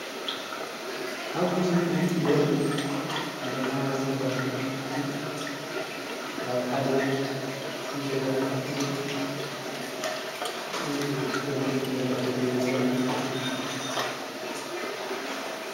ኣብዚ ምስሊ ዘርኢ ናይ ሃይማኖት ኣቦታትና ኣቅሽቲ ኣብ ሓደ ገዛ ተኣኪቦም ዝስተ መስተ እንዳ ሰተዩ ዘርኢ ምስሊ እዩ፡፡